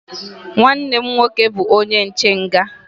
Nwanne m nwoke bụbu onye nche nga.